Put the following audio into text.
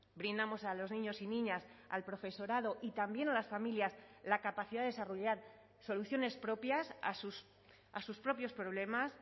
brindamos a los niños y niñas al profesorado y también a las familias la capacidad de desarrollar soluciones propias a sus propios problemas